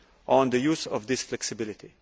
on the use of this flexibility.